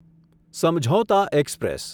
Samjhauta express